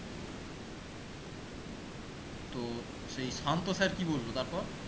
তো সেই শান্ত sir কি বললো তারপর?